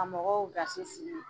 Ka mɔgɔw gasi sigi,